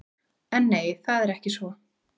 En nei, það er ekki svo.